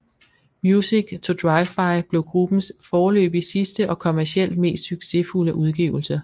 Music To Driveby blev gruppens foreløbig sidste og kommercielt mest succesfulde udgivelse